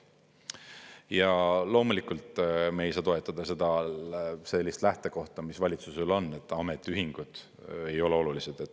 Ja loomulikult me ei saa toetada sellist lähtekohta, mis valitsusel on, et ametiühingud ei ole olulised.